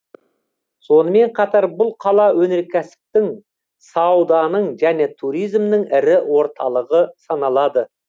сонымен қатар бұл қала өнеркәсіптің сауданың және туризмнің ірі орталығы саналады